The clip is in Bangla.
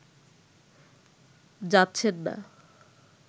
যাচ্ছেন না